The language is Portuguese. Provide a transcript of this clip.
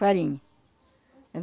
Farinha.